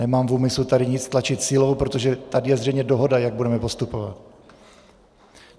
Nemám v úmyslu tady nic tlačit silou, protože tady je zřejmě dohoda, jak budeme postupovat.